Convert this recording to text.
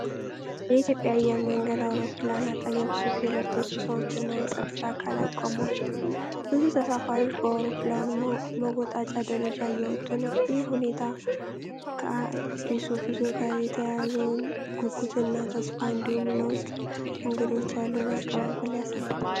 የኢትዮጵያ አየር መንገድ አውሮፕላን አጠገብ ሱፍ የለበሱ ሰዎችና የጸጥታ አካላት ቆመዋል። ብዙ ተሳፋሪዎች በአውሮፕላኑ መወጣጫ ደረጃ እየወጡ ነው። ይህ ሁኔታ ከአዲስ ጉዞ ጋር የተያያዘውን ጉጉትና ተስፋ እንዲሁም ለውጭ እንግዶች ያለውን አቀባበል ያሳያል።